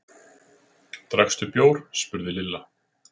Drakkstu bjór? spurði Lilla.